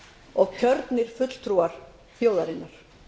og kjörnir fulltrúar þjóðarinnar